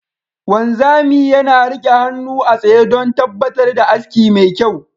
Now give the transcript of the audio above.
Wanzami yana rike hannu a tsaye don tabbatar da aski mai kyau.